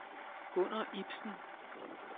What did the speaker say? Gunner Ibsen